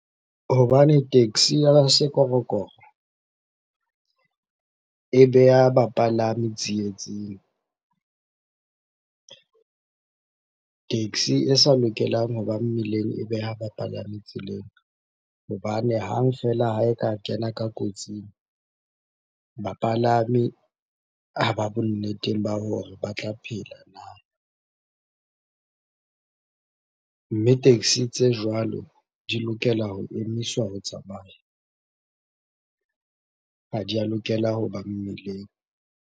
Hobane taxi ya sekorokoro e beha bapalami tsietsing. Taxi e sa lokelang hoba mmileng e beha bapalami tseleng hobane hang feela ha e ka kena ka kotsing, bapalami ha ba bonneteng ba hore ba tla phela na? Mme taxi tse jwalo di lokela ho emiswa ho tsamaya. Ha di a lokela hoba mmileng.